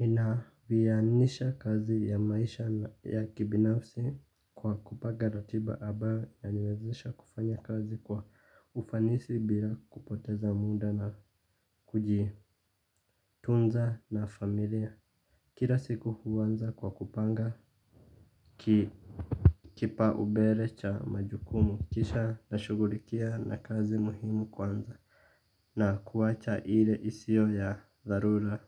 Nina viyanisha kazi ya maisha ya kibinafsi kwa kupaga ratiba abayo inaniwezesha kufanya kazi kwa ufanisi bila kupoteza muda na kujii. Tunza na familia kila siku huwanza kwa kupanga kipa ubele cha majukumu kisha na shugurikia na kazi muhimu kwanza. Na kuwacha ile isio ya dharura.